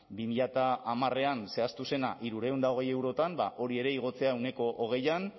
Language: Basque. bi mila hamarean zehaztu zena hirurehun eta hogei eurotan ba hori ere igotzea ehuneko hogeian